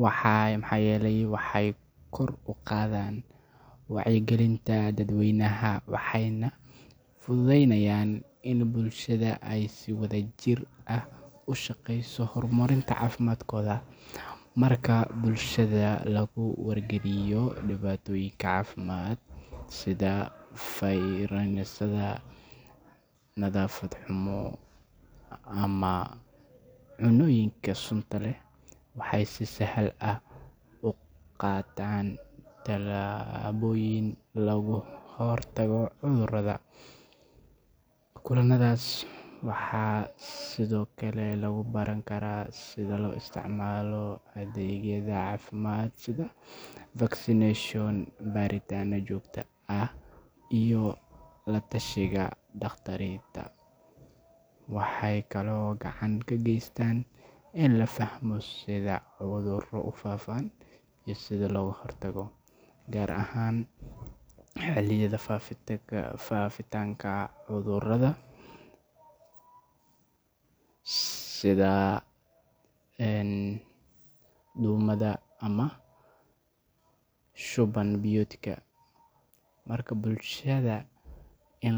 maxaa yeelay waxay kor u qaadaan wacyigelinta dadweynaha, waxayna fududeeyaan in bulshada ay si wadajir ah uga shaqeyso horumarinta caafimaadkooda. Marka bulshada lagu wargeliyo dhibaatooyinka caafimaad sida fayrasyada, nadaafad xumo, ama cunnooyinka sunta leh, waxay si sahal ah u qaataan tallaabooyin looga hortago cudurrada. Kulanadaas waxaa sidoo kale lagu baran karaa sida loo isticmaalo adeegyada caafimaadka sida vaccination, baaritaannada joogtada ah, iyo la-tashiga dhakhaatiirta. Waxay kaloo gacan ka geystaan in la fahmo sida cudurro u faafaan iyo sida looga hortago, gaar ahaan xilliyada faafitaanka cudurrada sida duumada ama shuban biyoodka. Marka bulshada la in.